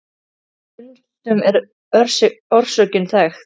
Stundum var orsökin þekkt.